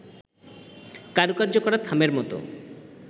কারুকার্য করা থামের মতো